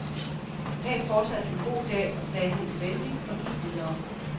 Hav fortsat en god dag, sagde han venligt og gik videre.